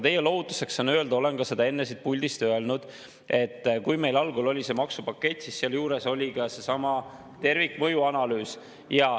Teie lohutuseks saan öelda, olen seda ka enne siit puldist öelnud, et kui meil algul oli see maksupakett, siis seal juures oli ka seesama tervikmõjuanalüüs.